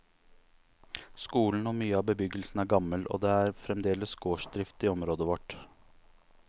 Skolen og mye av bebyggelsen er gammel, og det er fremdeles gårdsdrift i området vårt.